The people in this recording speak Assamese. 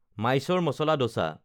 মাইছ'ৰ মাচালা দচা